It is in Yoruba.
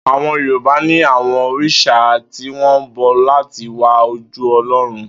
Àwo̩n Yorùbá ní àwo̩n òrìs̩à tí wó̩n bo̩ láti wá ojú O̩ló̩run